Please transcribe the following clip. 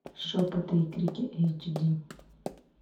шепоты и крики эйч ди